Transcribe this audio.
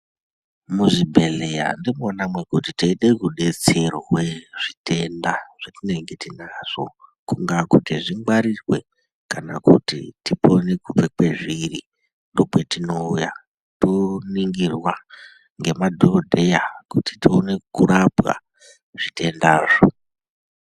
Muzvibhedhleya ndimona mwekuti teide kudetserwe zvitenda zvetinenge tinazvo, kungaa kuti zvingwarirwe kana kuti tipone kubve kwezviri, ndopetinouya toningirwa ngemadhokodheya kuti tione kurapwa zvitendazvo.